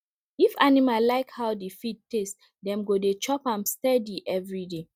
if animal like how the feed taste dem go dey chop am steady every day